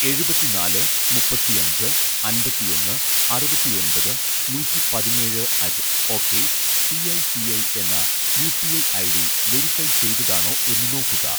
എഴുപത്തിനാല് മുപ്പത്തിഅഞ്ച് അമ്പത്തിഒന്ന് അറുപത്തിഒന്‍പത് നൂറ്റി പതിനേഴ് അറ്റ്‌ ഓക്കേ സിഐ സിഐ എന്ന യുപിഐ ഐഡി വെരിഫൈ ചെയ്തതാണോ എന്ന് നോക്കുക